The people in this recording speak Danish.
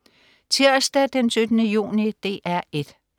Tirsdag den 17. juni - DR 1: